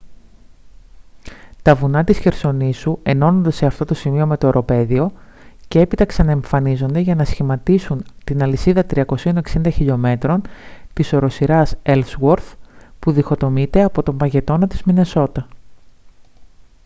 τα βουνά της χερσονήσου ενώνονται σε αυτό το σημείο με το οροπέδιο και έπειτα ξαναεμφανίζονται για να σχηματίσουν την αλυσίδα 360 χλμ της οροσειράς ellsworth που διχοτομείται από τον παγετώνα της μινεσότα